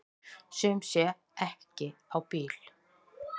Sum sé ekki á bíl.